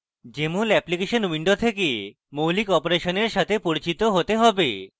jmol application window থেকে মৌলিক অপারেশনের সাথে পরিচিত থাকতে হবে